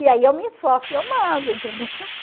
E aí eu me esforço e eu mando, entendeu?